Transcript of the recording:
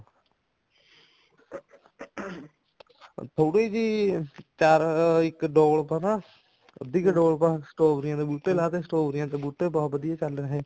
ਥੋੜੀ ਜੀ ਚਾਰ ਇੱਕ ਡੋਲ ਪਾ ਨਾ ਅੱਧੀ ਕਿੱਲੋ ਪਾ strawberry ਦੇ ਬੂਟੇ ਲਾਤੇ ਸ੍ਟ੍ਰਾਬੇਰੀਆਂ ਦੇ ਬੂਟੇ ਬਹੁਤ ਵਧੀਆ ਚੱਲ ਰਹੇ ਨੇ